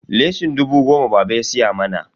leshin dubu goma baba ya siya mana.